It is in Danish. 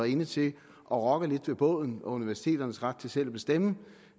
inde til at rokke lidt ved båden og universiteternes ret til selv at bestemme